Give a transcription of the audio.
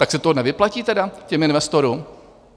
Tak se to nevyplatí tedy těm investorům?